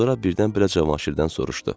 Sonra birdən-birə Cavanşirdən soruşdu.